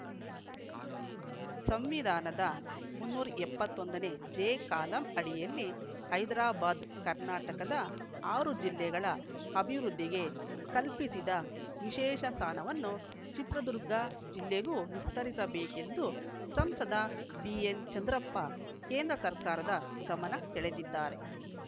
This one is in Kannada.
ಸಂವಿಧಾನದ ಮುನ್ನೂರ ಎಪ್ಪತ್ತ್ ಒಂದನೇ ಜೆ ಕಾಲಂ ಅಡಿಯಲ್ಲಿ ಹೈದರಾಬಾದ್‌ ಕರ್ನಾಟಕದ ಆರು ಜಿಲ್ಲೆಗಳ ಅಭಿವೃದ್ಧಿಗೆ ಕಲ್ಪಿಸಿದ ವಿಶೇಷ ಸ್ಥಾನವನ್ನು ಚಿತ್ರದುರ್ಗ ಜಿಲ್ಲೆಗೂ ವಿಸ್ತರಿಸಬೇಕೆಂದು ಸಂಸದ ಬಿಎನ್‌ಚಂದ್ರಪ್ಪ ಕೇಂದ್ರ ಸರ್ಕಾರದ ಗಮನ ಸೆಳೆದಿದ್ದಾರೆ